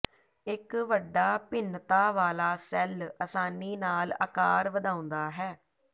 ਇਕ ਵੱਡਾ ਭਿੰਨਤਾ ਵਾਲਾ ਸੈੱਲ ਆਸਾਨੀ ਨਾਲ ਆਕਾਰ ਵਧਾਉਂਦਾ ਹੈ